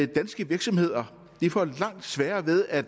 danske virksomheder får langt sværere ved at